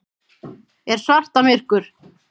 Er svarta myrkur?